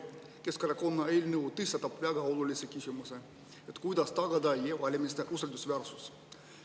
Keskerakonna eelnõu tõstatab väga olulise küsimuse: kuidas tagada e-valimiste usaldusväärsus?